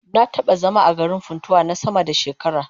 Na taba zama a garin Funtua na sama da shekara